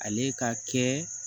Ale ka kɛ